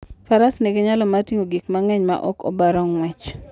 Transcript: Faras nigi nyalo mar ting'o gik mang'eny maok obaro ng'wech.